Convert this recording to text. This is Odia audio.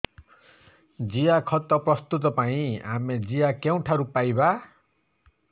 ଜିଆଖତ ପ୍ରସ୍ତୁତ ପାଇଁ ଆମେ ଜିଆ କେଉଁଠାରୁ ପାଈବା